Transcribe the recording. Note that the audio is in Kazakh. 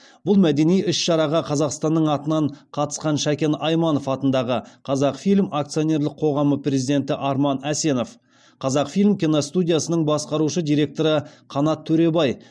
бұл мәдени іс шараға қазақстанның атынан қатысқан шәкен айманов атындағы қазақфильм акционерлік қоғамы президенті арман әсенов қазақфильм киностудиясының басқарушы директоры қанат төребай